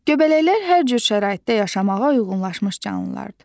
Göbələklər hər cür şəraitdə yaşamağa uyğunlaşmış canlılardır.